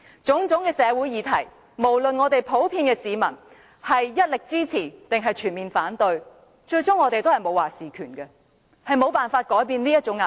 對於各種社會議題，不論市民是全面支持或反對，我們最終都沒有"話事權"，亦沒有辦法改變這種壓迫。